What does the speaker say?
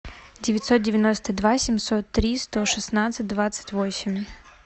девятьсот девяносто два семьсот три сто шестнадцать двадцать восемь